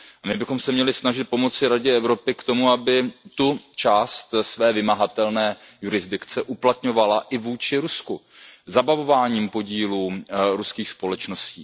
My bychom se měli snažit pomoci Radě Evropy k tomu, aby část své vymahatelné jurisdikce uplatňovala i vůči Rusku zabavováním podílů ruských společností.